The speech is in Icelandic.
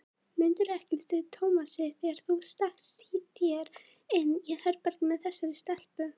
Mundirðu ekki eftir Tómasi þegar þú stakkst þér inn í herbergið með þessari stelpu?